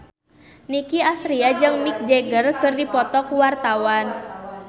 Nicky Astria jeung Mick Jagger keur dipoto ku wartawan